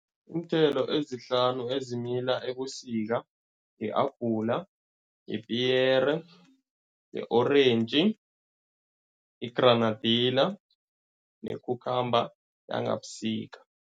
Iinthelo ezihlanu ezimila ebusika, i-apula, ipiyere, i-orentji, i-granadilla ne-cucumber yangabusika.